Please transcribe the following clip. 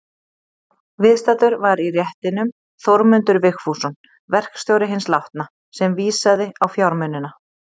Viðstaddur var í réttinum Þórmundur Vigfússon, verkstjóri hins látna, sem vísaði á fjármunina.